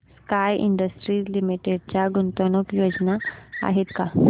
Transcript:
sky industries limited च्या गुंतवणूक योजना आहेत का